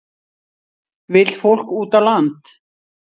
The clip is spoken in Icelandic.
Vill fólk út á land